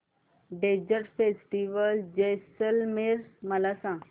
desert festival Jaisalmer मला सांग